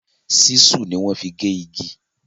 Ṣísù ni wọ́n fi gé igi.